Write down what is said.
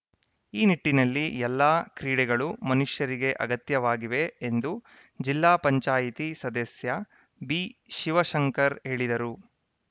ಈ ನಿಟ್ಟಿನಲ್ಲಿ ಎಲ್ಲ ಕ್ರೀಡೆಗಳು ಮನುಷ್ಯರಿಗೆ ಅಗತ್ಯವಾಗಿವೆ ಎಂದು ಜಿಲ್ಲಾ ಪಂಚಾಯಿತಿ ಸದಸ್ಯ ಬಿಶಿವಶಂಕರ್‌ ಹೇಳಿದರು